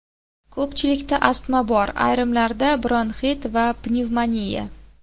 Ko‘pchilikda astma bor, ayrimlarda bronxit yoki pnevmoniya.